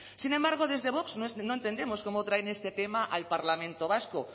sin embargo desde vox no entendemos cómo traen este tema al parlamento vasco